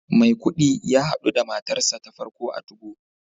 Maikudi ya hadu da matarsa ​​ta farko a 2go